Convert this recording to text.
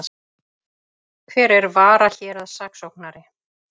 Hver er varahéraðssaksóknari?